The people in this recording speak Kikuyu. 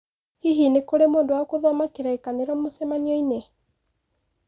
Hihi nĩ kũrĩ mũndũ wa gũthoma kĩrĩkanĩro mũcemanio-inĩ.